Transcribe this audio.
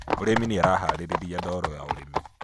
Mũrĩmi nĩaraharĩriria ndoro ya ũrĩmi